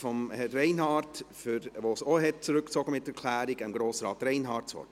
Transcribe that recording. Ich gebe für die Motion Reinhard Grossrat Reinhard das Wort.